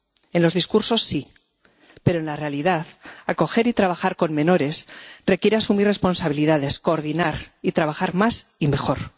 En los discursos sí, pero, en la realidad, acoger y trabajar con menores requiere asumir responsabilidades, coordinar y trabajar más y mejor.